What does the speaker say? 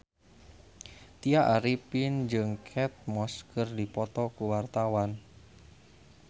Tya Arifin jeung Kate Moss keur dipoto ku wartawan